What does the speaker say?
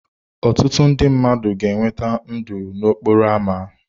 Ọtụtụ ndị mmadụ ga-enweta ndụ n'okporo ámá.